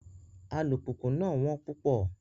Alupupu náà wón pupọ